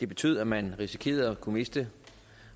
betød at man risikerede at miste